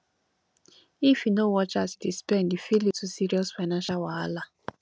if yu no watch as yu dey spend e fit lead to serious financial wahala